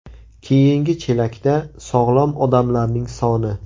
Keyingi chelakda sog‘lom odamlarning soni.